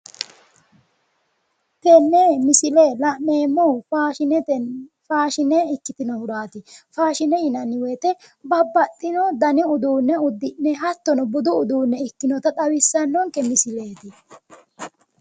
tenne misile la'neemmo faashine ikkitinohuraati faashine yiananni woyiite babbaxxino dani uduunne uddi'ne hattono budu uduunne ikkinota xawissa misileeti